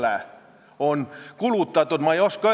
Me ju naudime praegu hetke, et rahvasaadikud on enda otsustes vabad.